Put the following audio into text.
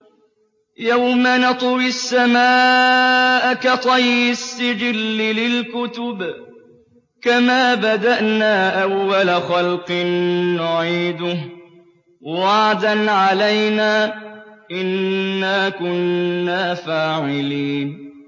يَوْمَ نَطْوِي السَّمَاءَ كَطَيِّ السِّجِلِّ لِلْكُتُبِ ۚ كَمَا بَدَأْنَا أَوَّلَ خَلْقٍ نُّعِيدُهُ ۚ وَعْدًا عَلَيْنَا ۚ إِنَّا كُنَّا فَاعِلِينَ